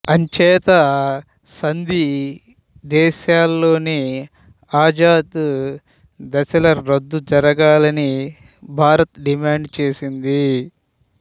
అంచేత సంధి దశలోనే ఆజాద్ దళాల రద్దు జరగాలని భారత్ డిమాండ్ చేసింది